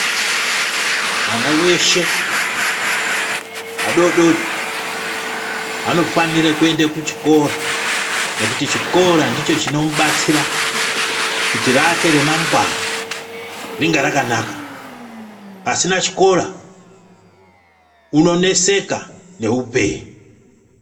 Mwana weshe vadodori vanofanira kuende kuchikora nekuti chikora ndicho chinomubatsira kuti rake remangwana ringe rakanaka pasina chikora unoneseka neupenyu.